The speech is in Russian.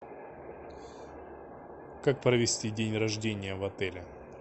как провести день рождения в отеле